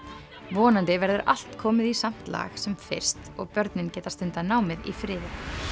vonandi verður allt komið í samt lag sem fyrst og börnin geta stundað námið í friði